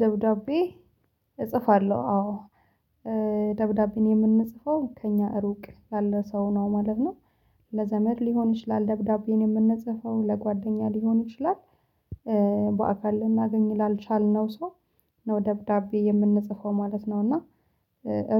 ደብዳቤ እጽፋለሁ አዎ ደብዳቤን የምንጽፈው ከእኛ ሩቅ ላለ ሰው ነው ማለት ነው። ለዘመድ ሊሆን ይችላል ደብዳቤን እምንጽፈው ለጓደኛ ሊሆን ይችላል። በአካል ልናገኘው ላልቻልን ሰው ነው ደብዳቤ የምንፅፈው ማለት ነው። እና